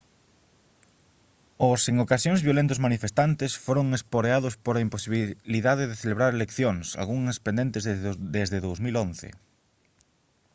os en ocasións violentos manifestantes foron esporeados pola imposibilidade de celebrar eleccións algunhas pendentes desde 2011